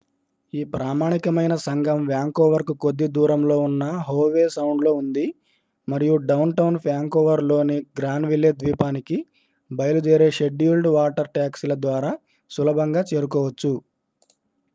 ఈ ప్రామాణికమైన సంఘం వ్యాంకోవర్కు కొద్ది దూరంలో ఉన్న హోవే సౌండ్లో ఉంది మరియు డౌన్టౌన్ వ్యాంకోవర్లోని గ్రాన్విల్లే ద్వీపానికి బయలుదేరే షెడ్యూల్డ్ వాటర్ టాక్సీల ద్వారా సులభంగా చేరుకోవచ్చు